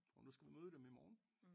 Og nu skal vi møde dem i morgen